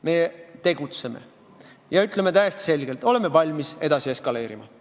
Meie tegutseme ja ütleme täiesti selgelt: oleme valmis edasi eskaleerima.